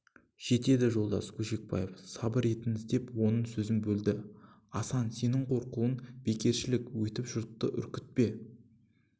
жетеді жолдас көшекбаев сабыр етіңіз деп оның сөзін бөлді асан сенің қорқуың бекершілік өйтіп жұртты үркітпе